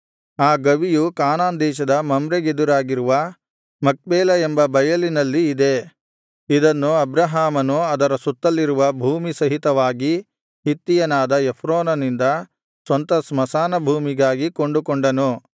ಆ ಗವಿಯು ಕಾನಾನ್ ದೇಶದ ಮಮ್ರೆಗೆದುರಾಗಿರುವ ಮಕ್ಪೇಲ ಎಂಬ ಬಯಲಿನಲ್ಲಿ ಇದೆ ಅದನ್ನು ಅಬ್ರಹಾಮನು ಅದರ ಸುತ್ತಲಿರುವ ಭೂಮಿ ಸಹಿತವಾಗಿ ಹಿತ್ತಿಯನಾದ ಎಫ್ರೋನನಿಂದ ಸ್ವಂತ ಸ್ಮಶಾನ ಭೂಮಿಗಾಗಿ ಕೊಂಡುಕೊಂಡನು